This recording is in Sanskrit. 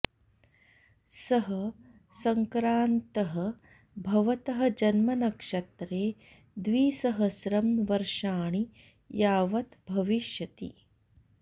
सः सङ्क्रान्तः भवतः जन्मनक्षत्रे द्विसहस्रं वर्षाणि यावत् भविष्यति